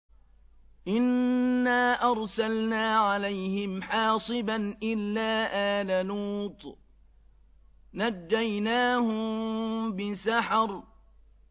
إِنَّا أَرْسَلْنَا عَلَيْهِمْ حَاصِبًا إِلَّا آلَ لُوطٍ ۖ نَّجَّيْنَاهُم بِسَحَرٍ